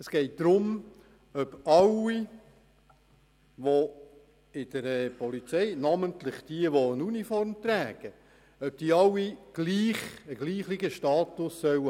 Es geht um alle bei der Polizei, namentlich um alle mit Uniform, und dabei darum, ob sie alle denselben Status erhalten sollen oder nicht.